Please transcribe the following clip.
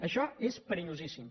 això és perillosíssim